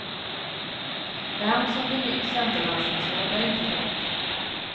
Vem som blir nytt centerlandstingsråd är inte klart.